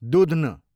दूध्न